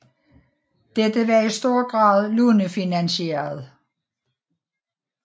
Dette var i stor grad lånefinansieret